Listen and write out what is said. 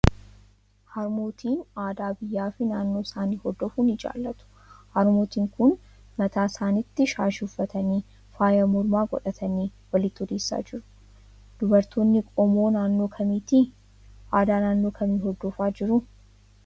Harmootiin aadaa biyyaa fi naannoo isaanii hordofuu ni jaallatu. Harmootiin kun mataa isaaniitti shaashii uffatanii, faaya mormaa godhatanii walitti odeessaa jiru. Dubartoonni qomoo naannoo kamiiti? Aadaa naannoo kamii hordofaa jiru?